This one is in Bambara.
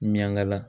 Ɲanga la